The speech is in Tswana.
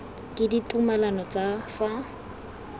ke ditumalano tsa ka fa